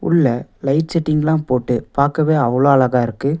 உள்ள லைட் செட்டிங்லாம் போட்டு பாக்கவே அவ்ளோ அழகா இருக்கு.